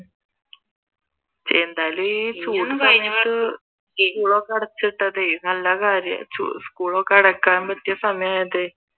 എന്തായാലും ഈ ചൂട്ടത്ത് സ്‌കൂളൊക്കെ അടച്ചിട്ടതെ നല്ല കാര്യം ആയി സ്‌കൂൾ ഒകെ അടക്കാൻ പറ്റിയ സമയം ആയതേ